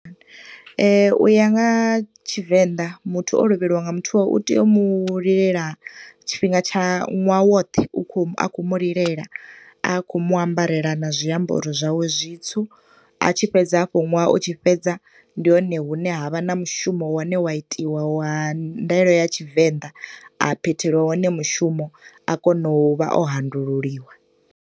Uya nga ha Tshivenḓa muthu o lovheliwa nga muthu wawe, u tea u mu lilela tshifhinga tsha, ṅwaha woṱhe u kho mu, a khou mu lilela, a khou muambarela na zwiambaro zwawe zwitsu. A tshi fhedza hafho ṅwaha u tshi fhedza ndi hone hune ha vha na mushumo wane wa itiwa wa ndaela ya Tshivenḓa, a phetheliwa wone mushumo, a kona u vha o handululiwa.